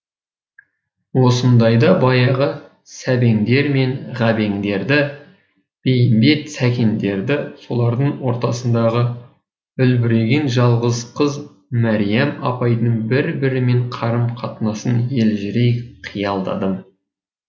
осындайда баяғы сәбеңдер мен ғабеңдерді бейімбет сәкендерді солардың ортасындағы үлбіреген жалғыз қыз мариям апайдың бір бірімен қарым қатынасын елжірей қиялдадым